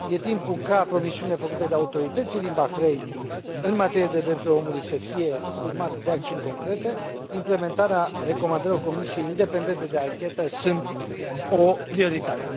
Este timpul ca promisiunile făcute de autoritățile din Bahrain în materie de drepturile omului să fie urmate de acțiuni concrete, implementarea recomandărilor comisiei independente de anchetă fiind o prioritate.